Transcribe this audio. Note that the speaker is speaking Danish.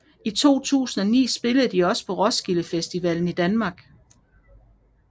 I 2009 spillede de også på Roskilde Festivalen i Danmark